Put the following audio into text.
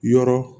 Yɔrɔ